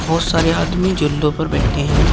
बहोत सारे आदमी झूलों पर बैठे हैं।